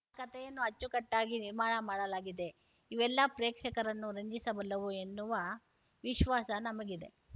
ಆ ಕತೆಯನ್ನು ಅಚ್ಚಕಟ್ಟಾಗಿ ನಿರ್ಮಾಣ ಮಾಡಲಾಗಿದೆಇವೆಲ್ಲ ಪ್ರೇಕ್ಷಕರನ್ನು ರಂಜಿಸಬಲ್ಲವು ಎನ್ನುವ ವಿಶ್ವಾಸ ನಮಗಿದೆ